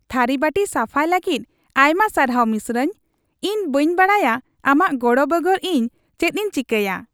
ᱛᱷᱟᱹᱨᱤ ᱵᱟᱹᱴᱤ ᱥᱟᱯᱷᱟᱭ ᱞᱟᱹᱜᱤᱫ ᱟᱭᱢᱟ ᱥᱟᱨᱦᱟᱣ ᱢᱤᱥᱨᱟᱧ ᱾ ᱤᱧ ᱵᱟᱹᱧ ᱵᱟᱰᱟᱭᱟ ᱟᱢᱟᱜ ᱜᱚᱲᱚ ᱵᱮᱜᱚᱨ ᱤᱧ ᱪᱮᱫᱤᱧ ᱪᱮᱠᱟᱭᱟ ᱾